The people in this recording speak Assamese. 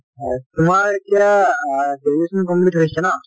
হয়, তোমাৰ এতিয়া আহ graduation complete হৈছে ন?